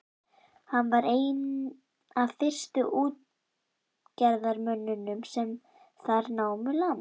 Hann var einn af fyrstu útgerðarmönnunum sem þar námu land.